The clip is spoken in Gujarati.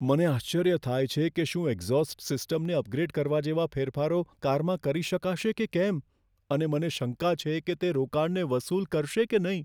મને આશ્ચર્ય થાય છે કે શું એક્ઝોસ્ટ સિસ્ટમને અપગ્રેડ કરવા જેવા ફેરફારો કારમાં કરી શકાશે કે કેમ અને મને શંકા છે કે તે રોકાણને વસૂલ કરશે કે નહીં.